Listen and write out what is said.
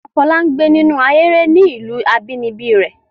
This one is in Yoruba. Bàbá Fọlá ń gbé nínú ahéré ní ìlú abínibí rẹ̀.